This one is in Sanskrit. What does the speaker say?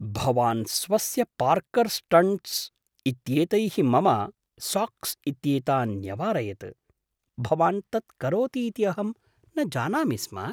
भवान् स्वस्य पार्कर् स्टण्ट्स् इत्येतैः मम साक्स् इत्येतान् न्यवारयत्, भवान् तत्करोति इति अहं न जानामि स्म।